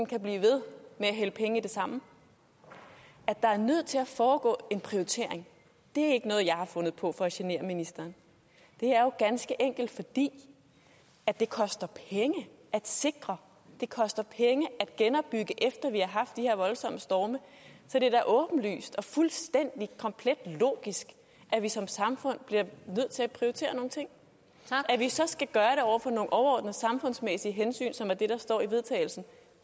kan blive ved med at hælde penge i det samme at der er nødt til at foregå en prioritering er ikke noget jeg har fundet på for at genere ministeren det er jo ganske enkelt fordi det koster penge at sikre det koster penge at genopbygge efter at vi har haft de her voldsomme storme så det er da åbenlyst og fuldstændig komplet logisk at vi som samfund bliver nødt til at prioritere nogle ting at vi så skal gøre det overordnede samfundsmæssige hensyn som er det der står i vedtagelse